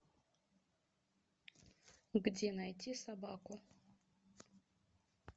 где найти собаку